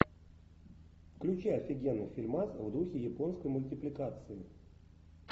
включай офигенный фильмас в духе японской мультипликации